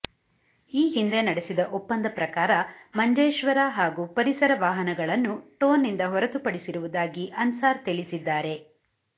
ಈ ಹಿಂದೆ ನಡೆಸಿದ ಒಪ್ಪಂದ ಪ್ರಕಾರ ಮಂಜೇಶ್ವರ ಹಾಗೂ ಪರಿಸರ ವಾಹನಗಳನ್ನು ಟೋ ನಿಂದ ಹೊರತುಪಡಿಸಿರು ವುದಾಗಿ ಅನ್ಸಾರ್ ತಿಳಿಸಿದ್ದಾರೆ